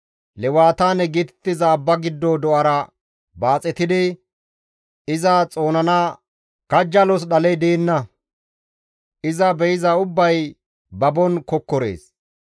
Lewataane geetettiza abba giddo do7ara baaxetidi iza xoonana kajjalos dhaley deenna. iza be7iza ubbay babon kokkorees.